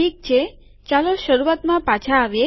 ઠીક છે ચાલો શરૂઆતમાં પાછા આવીએ